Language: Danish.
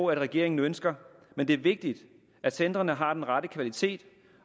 regeringen ønsker men det er vigtigt at centrene har den rette kvalitet